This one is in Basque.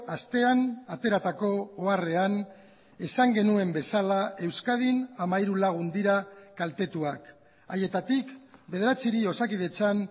astean ateratako oharrean esan genuen bezala euskadin hamairu lagun dira kaltetuak haietatik bederatziri osakidetzan